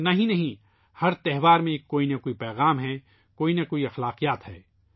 یہی نہیں ، ہر تہوار میں کوئی نہ کوئی پیغام ہوتا ہے ، کوئی نہ کوئی رسم ہوتی ہے